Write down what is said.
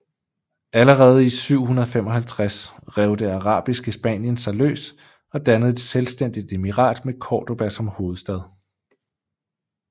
Allerede i 755 rev det arabiske Spanien sig løs og dannede et selvstændigt emirat med Cordoba som hovedstad